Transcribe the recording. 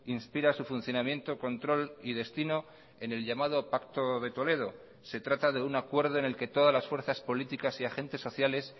inspira a su funcionamiento control y destino en el llamado pacto de toledo se trata de un acuerdo en el que todas las fuerzas políticas y agentes sociales